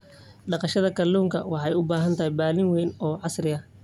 Dhaqashada kalluunka waxay u baahan tahay balli weyn oo casri ah.